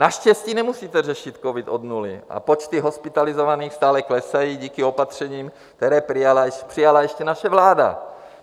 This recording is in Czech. Naštěstí nemusíte řešit covid od nuly a počty hospitalizovaných stále klesají díky opatřením, které přijala ještě naše vláda.